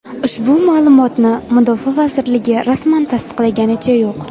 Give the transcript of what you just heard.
Ushbu ma’lumotlarni mudofaa vazirligi rasman tasdiqlaganicha yo‘q.